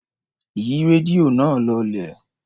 Yí rédíò náà lọlẹ̀.